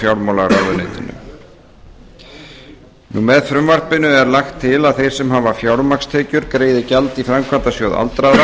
fjármálaráðuneyti með frumvarpi þessu er lagt til að þeir sem hafa fjármagnstekjur greiði gjald í framkvæmdasjóð aldraðra